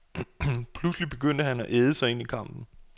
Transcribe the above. Pludselig begyndte han at æde sig ind i kampen.